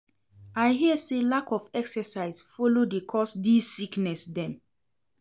I hear sey lack of exercise folo dey cause dese sickness dem.